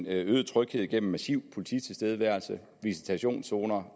øget tryghed gennem massiv polititilstedeværelse visitationszoner